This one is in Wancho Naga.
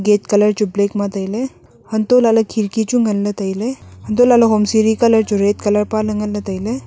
gate colour chu black ma tailey hantoh lahley khirki chu nganley tailey hantoh lahley hom siri colour chu red colour e paley nganley tailey.